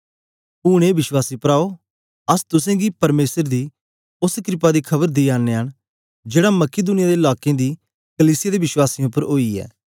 ऊन ए विश्वासी प्राओ अस तुसेंगी परमेसर दी ओस क्रपा दी खबर दियानयां न जेड़ा मकिदुनिया दे लाकें दी कलीसिया दे विश्वासियें उपर ओई ऐ